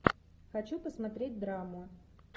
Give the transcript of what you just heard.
хочу посмотреть драму